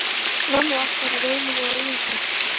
Námið allt var í rauninni á eigin spýtur.